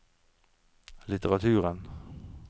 litteraturen